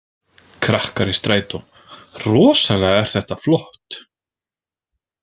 KRAKKAR Í STRÆTÓ „Rosalega er þetta flott!“